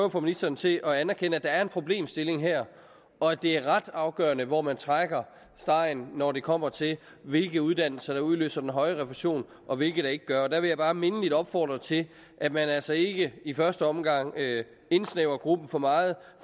at få ministeren til at anerkende at der er en problemstilling her og at det er ret afgørende hvor man trækker stregen når det kommer til hvilke uddannelser der udløser den høje refusion og hvilke der ikke gør og der vil jeg bare mindeligt opfordre til at man altså i i første omgang ikke indsnævrer gruppen for meget